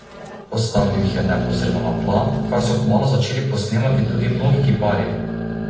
Postavil jih je neposredno na tla, kar so kmalu začeli posnemati tudi mnogi kiparji.